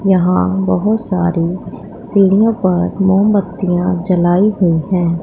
यहां बहुत सारी सीढ़ियों पर मोमबत्तियां जलाई हुई है।